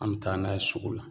An be taa n'a ye sugu la